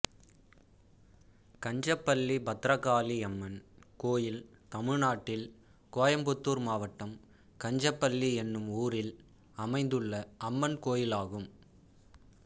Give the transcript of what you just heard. கஞ்சப்பள்ளி பத்ரகாளியம்மன் கோயில் தமிழ்நாட்டில் கோயம்புத்தூர் மாவட்டம் கஞ்சப்பள்ளி என்னும் ஊரில் அமைந்துள்ள அம்மன் கோயிலாகும்